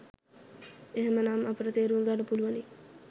එහෙම නම් අපට තේරුම් ගන්න පුළුවනි